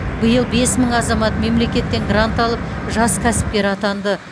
биыл бес мың азамат мемлекеттен грант алып жас кәсіпкер атанды